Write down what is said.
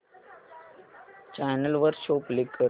channel वर show play कर